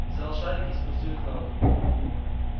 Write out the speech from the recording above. взял шарики и спустил их на воду